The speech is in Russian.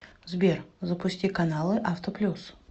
сбер запусти каналы авто плюс